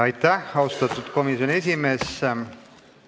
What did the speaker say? Aitäh, austatud komisjoni esimees!